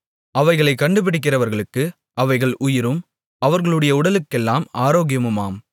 அவைகளைக் கண்டுபிடிக்கிறவர்களுக்கு அவைகள் உயிரும் அவர்களுடைய உடலுக்கெல்லாம் ஆரோக்கியமுமாம்